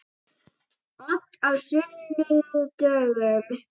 Ég hugsa stundum um hvað hefði gerst ef við hefðum ekki.